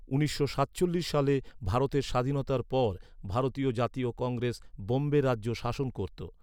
উনিশশো সাতচল্লিশ সালে ভারতের স্বাধীনতার পর ভারতীয় জাতীয় কংগ্রেস বোম্বে রাজ্য শাসন করত।